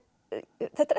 þetta